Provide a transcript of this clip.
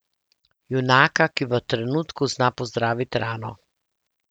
Junaka, ki v trenutku zna pozdraviti rano.